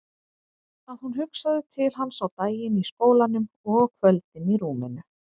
Að hún hugsaði til hans á daginn í skólanum og á kvöldin í rúminu.